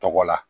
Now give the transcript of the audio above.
Tɔgɔ la